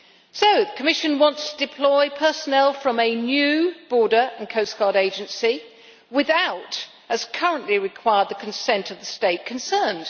So the Commission wants to deploy personnel from a new Border and Coast Guard Agency without, as currently required, the consent of the state concerned.